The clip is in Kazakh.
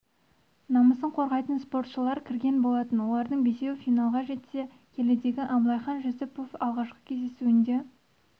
намысын қорғайтын спортшылар кірген болатын олардың бесеуі финалға дейін жетсе келідегі абылайхан жүсіпов алғашқы кездесуінде